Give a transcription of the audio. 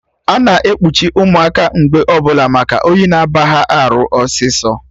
Ana ekpuchi ụmụaka mgbe ọbụla maka oyi na aba ha arụ ọsịsọ